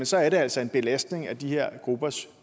så er det altså en belastning af de her gruppers